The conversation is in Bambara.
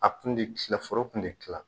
A kun tɛ kila foro kun tɛ kila